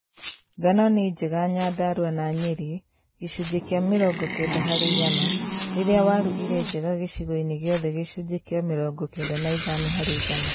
Ngano nĩ njega Nyandarua na Nyeri (gĩcunjĩ kĩa mĩrongo kenda harĩ igana) rĩrĩa waru irĩ njega gĩcio-inĩ giothe (gĩcunjĩ kĩa mĩrongo kenda na ithano harĩ igana)